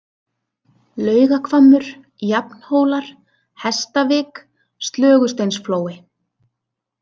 Laugahvammur, Jafnhólar, Hestavik, Slögusteinsflói